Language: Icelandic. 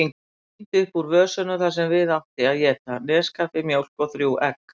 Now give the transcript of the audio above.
Tíndi upp úr vösunum það sem við átti að éta: neskaffi, mjólk, þrjú egg.